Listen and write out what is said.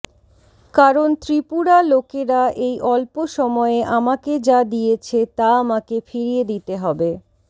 কারণ ত্রিপুরা লোকেরা এই অল্প সময়ে আমাকে যা দিয়েছে তা আমাকে ফিরিয়ে দিতে হবে